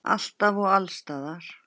Alltaf og alls staðar.